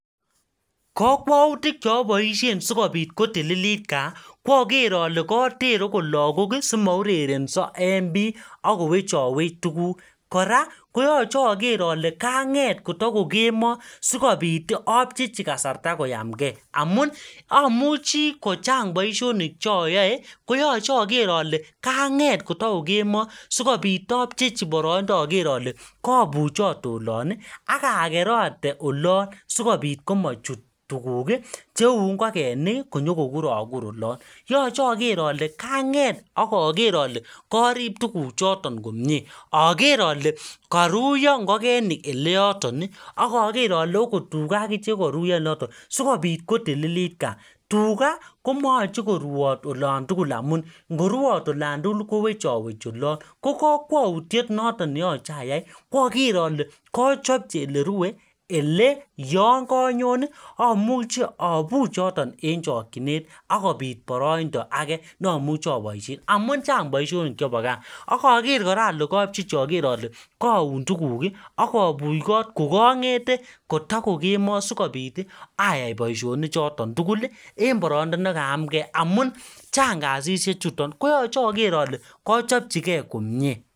kokwoutik cheoboishen sikopit kotililit kaa ko oger ole koter agot lagok simourerenso en bii ak kowechowech tuguk kora koyoche oger ole kaang'et koto kokemoo sikopit apchechi kasarta koyamkee amun amuchi kochang boishonik che oyoe koyoche oger ole kaanget koto ko kemoo sikopit apchepchi poroindo ager ole kobuchote olon ii aka kerate olono sikopit komuchut tuguk cheu ng'okeniki konyo kokurokur olon yoche ager ale kaanget ak ager ole korib tuguchoton komye ager ale koruyo ng'okenik ele yoton ii ager ole ogot tuga akichek ko koruyo ole yoton sikopit kotililit kaa tuga komoyoche koruyot olan tugul amun ngoruyot olan tugul kowechowechi olon ko kwoutiet noton ne yoche ayai kwo ager ole kochopchi ele rue ele yoon konyon amuche abuch en chokyinet akopit poroindo age noomuche aboishen amun chang boishonik chepo gaa ak oger kora ale kopchechi oger ole kaun tuguk ii ak abuch kot ko kong'ete kotokokemoo sikopit ayai boishoni ni choto tugul ii en poroindo nekayam kee amun chang kasishe chuton koyoche oger ole kachopchi kee komye